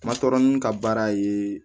Ma tɔɔrɔ n ka baara ye